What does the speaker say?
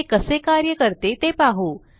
हे कसे कार्य करते ते पाहू